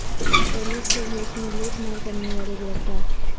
police کے بھیس میں لوٹ مار کرنے والے گرفتار